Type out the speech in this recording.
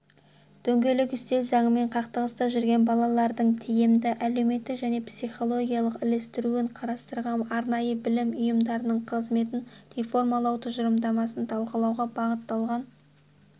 дөңгелек үстел заңмен қақтығыста жүрген балалардың тиімді әлеуметтік және психологиялық ілестіруін қарастыратын арнайы білім ұйымдарының қызметін реформалау тұжырымдамасын талқылауға бағыталған